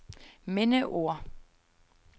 mindeord